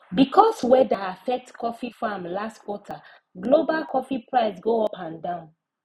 because weather affect coffee farm last quarter global coffee price go up and down